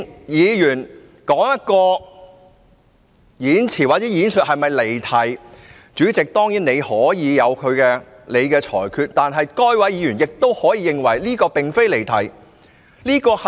議員的發言是否離題，主席當然可以裁決，但議員亦可以認為他並無離題。